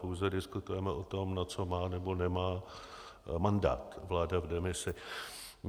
Pouze diskutujeme o tom, na co má nebo nemá mandát vláda v demisi.